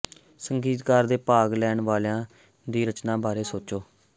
ਸੰਗੀਤਕਾਰ ਦੇ ਭਾਗ ਲੈਣ ਵਾਲਿਆਂ ਦੀ ਰਚਨਾ ਬਾਰੇ ਸੋਚੋ